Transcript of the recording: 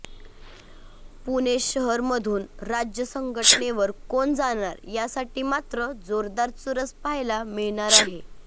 पुणे शहरमधून राज्य संघटनेवर कोण जाणार यासाठी मात्र जोरदार चुरस पहायला मिळणार आहे